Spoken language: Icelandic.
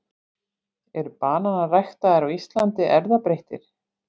Eru bananar ræktaðir á Íslandi erfðabreyttir?